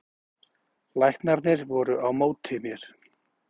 Læknarnir voru á móti mér